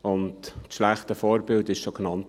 Und das schlechte Vorbild wurde schon genannt.